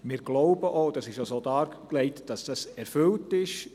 Wir glauben auch – das ist auch so dargelegt –, dass dies erfüllt ist.